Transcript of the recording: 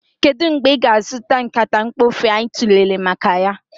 Kedu mgbe ị ga-azụta nkata mkpofu anyị tụlere maka ya?